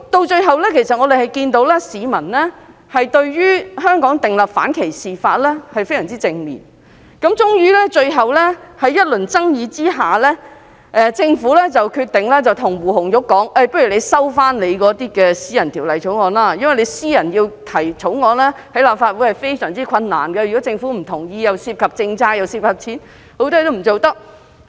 最後，政府看到市民對於香港訂立反歧視法的反應非常正面，終於在一輪爭議下，政府決定建議胡紅玉收回私人法案，因為個人在立法會提出私人法案非常困難，如果政府不同意，既涉及政策，又涉及金錢，很多事情也不能做。